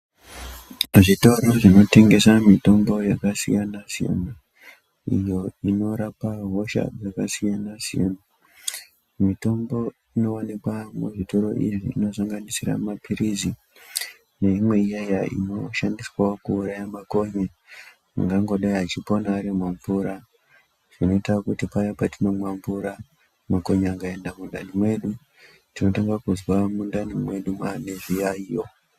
Kuzvitoro zvinotengesa mitombo yakasiyana-siyana, iyo inorapa hosha dzakasiyana-siyana. Mitombo inovanikwa muzvitoro zviya inosanganisira maphirizi neimwe iyaiya inoshandiswavo kuuraya makonye angangodai achipona ari mumvura. Zvinoita kuti paya patinomwa mvura makonye akaenda mundani mwedu tinotanga kuzwa mundani mwedu mwane zviyaiyo.